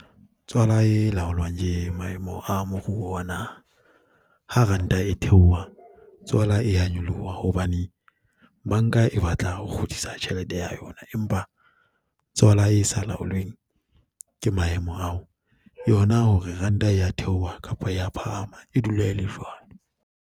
Tswala e laolwang ke maemo a moruo wa naha ha ranta e theoha tswala e a nyoloha hobane banka e batla ho kgutlisa tjhelete ya yona, empa tswala e sa laolweng ke maemo ao, yona hore ranta ya theoha kapa ya phahama e dula e le jwalo.